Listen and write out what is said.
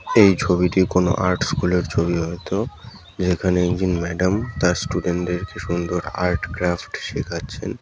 এই ছবিটি কোন আর্ট স্কুল এর ছবি হয়তো । যেখানে একদিন ম্যাডাম তার স্টুডেন্ট দেরকে সুন্দর আর্ট ক্রাফ্ট শেখাচ্ছেন ।